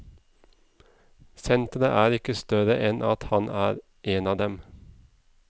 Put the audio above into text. Senteret er ikke større enn at han er en av dem.